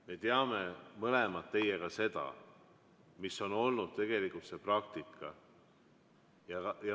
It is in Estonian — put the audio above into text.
Me teame mõlemad teiega seda, mis on olnud praktika.